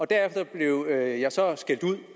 derefter blev jeg så skældt ud